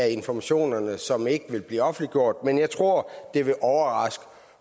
af informationerne som ikke vil blive offentliggjort men jeg tror det vil overraske